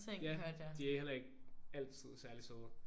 Ja de er heller ikke altid særligt søde